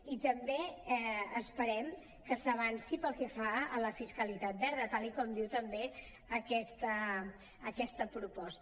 i també esperem que s’avanci pel que fa a la fiscalitat verda tal com diu també aquesta proposta